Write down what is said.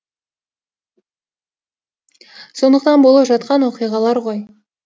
сондықтан болып жатқан оқиғалар ғой